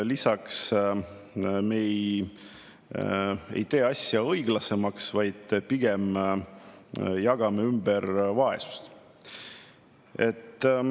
Lisaks me ei tee asja õiglasemaks, vaid pigem jagame vaesust ümber.